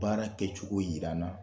Baara kɛcogo jira n na